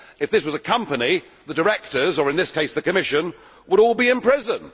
If this was a company, the directors, in this case the Commission, would all be in prison.